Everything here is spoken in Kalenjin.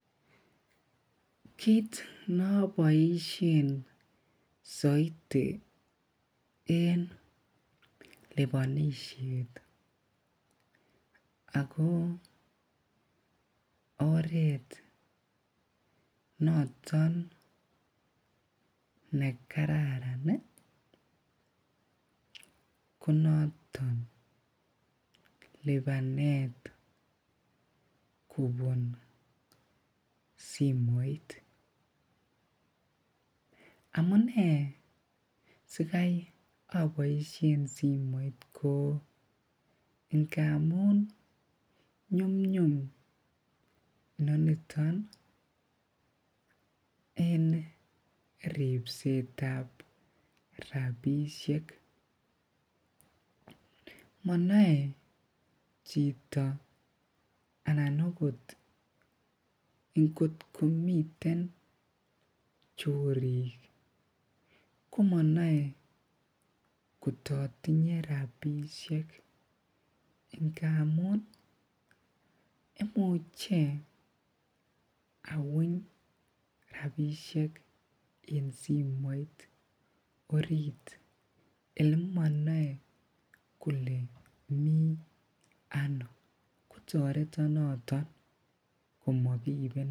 Kiit noboishen soiti en libonishet ak ko oreet noton ne kararan ko noton libanet kobun simoit, amunee sikai oboishen simoit ko ngamun nyumnyum inoniton en ribsetab rabishek, monoe chito anan okot ingot komiten chorik komonoe kototinye rabishek ngamun imuche awuny rabishek en simoit oriit yemonoe kolee mii anoo kotoreton noton komokiibenon.